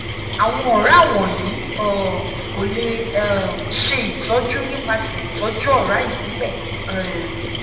awọn ọra wọnyi um ko le um ṣe itọju nipasẹ itọju ọra ibile um